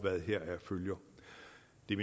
det